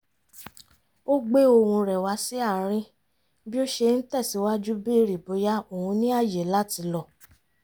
ó gbé ohùn rẹ̀ wá sí àárín bí ó ṣe ń tẹ̀sìwájú bèrè bóyá òun ní ààyè láti lọ